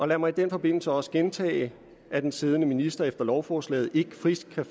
lad mig i den forbindelse også gentage at den siddende minister efter lovforslaget ikke frit kan